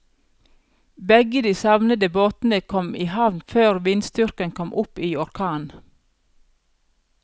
Begge de savnede båtene kom i havn før vindstyrken kom opp i orkan.